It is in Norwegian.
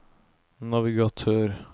navigatør